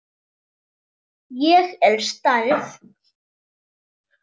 Ég er særð.